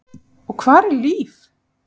Og hvar er Líf?